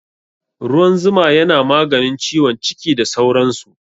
Ruwan zuma yana maganin ciwon ciki da sauran su